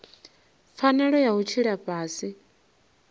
pfanelo ya u tshila fhasi